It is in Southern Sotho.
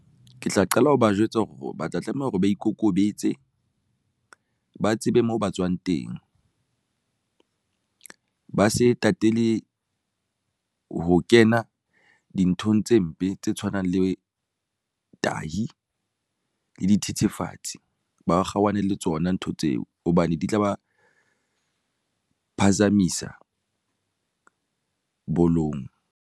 Ke tla qala ho ba jwetsa hore ba tla tlameha hore ba ikokobetse ba tsebe moo ba tswang teng, ba se tatele ho kena dinthong tse mpe tse tshwanang le tahi le dithethefatsi, ba kgaohane le tsona ntho tseo hobane di tla ba phazamisa bolong.